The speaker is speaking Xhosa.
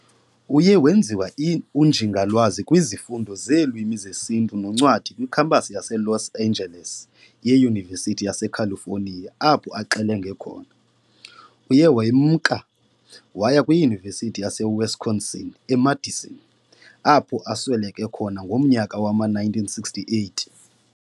Uye wenziwa uNjingalwazi kwizifundo zeeLwimi zeSintu noNcwadi kwiKhampasi yaseLos Angeles ye-Yunivesity yaseCalifonia apho axelengele khona. Uye wemka waya kwiYunivesithi yaseWisconsin eMadison, apho asweleke khona ngomnyaka wama-1968.